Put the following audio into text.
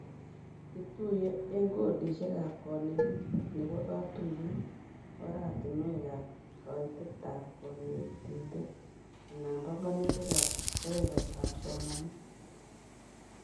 Ituyee eng codishekab konetik nebo katuyet, oratinwekab kaitetab konetinet, anan banganutikab kebebertaab somanet